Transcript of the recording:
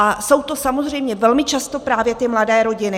A jsou to samozřejmě velmi často právě ty mladé rodiny.